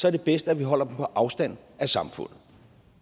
er det bedst at vi holder dem på afstand af samfundet